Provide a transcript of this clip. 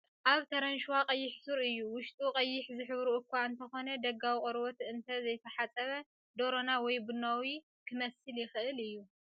ኣብ ተረንሸዋ ቀይሕ ሱር እዩ፣ ውሽጡ ቐይሕ ዝሕብሩ እኳ እንተዀነ ደጋዊ ቘርበት እንተ ዘይተሓጽበ ደሮና ወይ ቡናዊ ኺመስል ይኽእል እዩ።